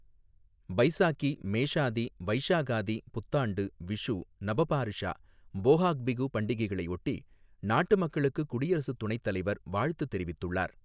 பைசாகி, மேஷாதி, வைஷாகாதி, புத்தாண்டு, விஷு, நப பார்ஷா, போஹாக் பிஹு பண்டிகைகளையொட்டி நாட்டு மக்களுக்குக் குடியரசு துணைத்தலைவர் வாழ்த்து தெரிவித்துள்ளார்